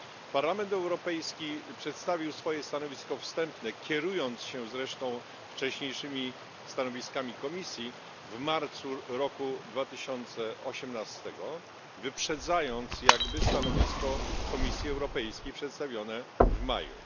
Parlament Europejski przedstawił swoje stanowisko wstępne kierując się zresztą wcześniejszymi stanowiskami Komisji w marcu roku 2018, wyprzedzając jakby stanowisko Komisji Europejskiej przedstawione w maju.